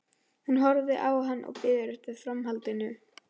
Hún horfir á hann og bíður eftir framhaldinu.